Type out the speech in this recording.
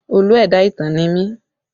Olú ẹ̀dá ìtàn ni mí